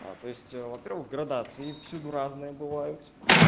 а то есть во первых градации всюду разные бывают